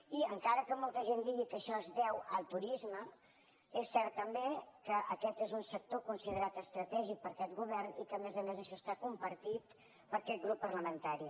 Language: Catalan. i encara que molta gent digui que això es deu al turisme és cert també que aquest és un sector considerat estratègic per aquest govern i que a més a més això està compartit per aquest grup parlamentari